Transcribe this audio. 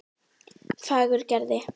Fagurgerði